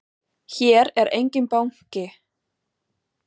Hér er enginn banki!